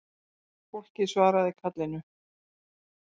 Fólkið svaraði kallinu